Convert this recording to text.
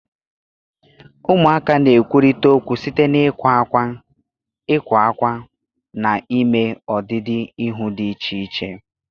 Ụmụaka na-ekwurịta okwu site n'ịkwa ákwá, ịkwa ákwá, na ime ọdịdị ihu dị iche iche.